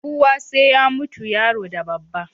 Kowa sai ya mutu, yaro da babba